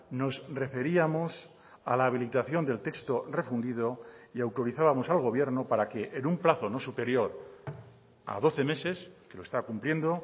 nos referíamos a la habilitación del texto refundido y autorizábamos al gobierno para que en un plazo no superior a doce meses que lo está cumpliendo